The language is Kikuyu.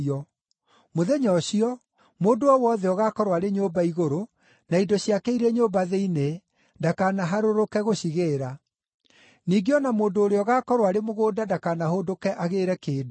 Mũthenya ũcio, mũndũ o wothe ũgaakorwo arĩ nyũmba igũrũ, na indo ciake irĩ nyũmba thĩinĩ, ndakanaharũrũke gũcigĩĩra. Ningĩ o na mũndũ ũrĩa ũgaakorwo arĩ mũgũnda ndakanahũndũke agĩĩre kĩndũ.